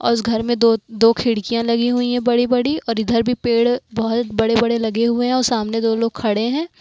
उस घर में दो दो खिड़कियां लगी हुई हैं बड़ी बड़ी और इधर भी पेड़ बहुत बड़े बड़े लगे हुए हैं और सामने दो लोग खड़े हैं।